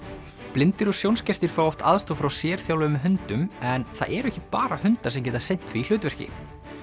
blindir og sjónskertir fá oft aðstoð frá sérþjálfuðum hundum en það eru ekki bara hundar sem geta sinnt því hlutverki